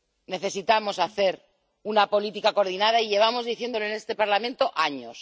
Necesitamos hacer una política coordinada, y llevamos diciéndolo en este Parlamento años.